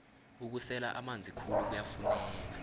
ukusela amanzi khulu kuyafuneka